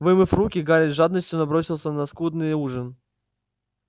вымыв руки гарри с жадностью набросился на скудный ужин